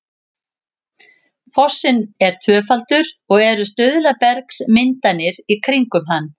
fossinn er tvöfaldur og eru stuðlabergsmyndanir í kringum hann